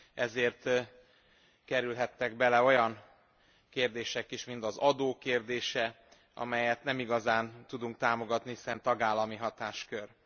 ezért kerülhettek bele olyan kérdések is, mint az adó kérdése, amelyet nem igazán tudunk támogatni, hiszen tagállami hatáskör.